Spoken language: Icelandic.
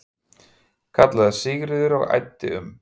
kallaði Sigríður og æddi um.